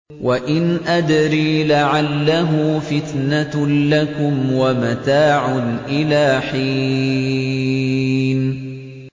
وَإِنْ أَدْرِي لَعَلَّهُ فِتْنَةٌ لَّكُمْ وَمَتَاعٌ إِلَىٰ حِينٍ